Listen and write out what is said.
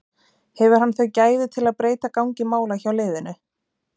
Hefur hann þau gæði til að breyta gangi mála hjá liðinu?